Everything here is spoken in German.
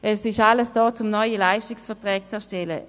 Es ist alles vorhanden, um neue Leistungsverträge zu erstellen.